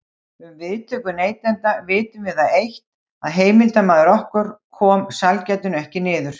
Um viðtökur neytenda vitum við það eitt, að heimildarmaður okkar kom sælgætinu ekki niður.